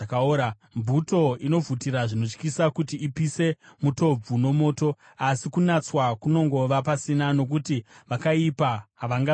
Mvuto inovhutira zvinotyisa kuti ipise mutobvu nomoto, asi kunatswa kunongova pasina; nokuti vakaipa havasi kubviswa.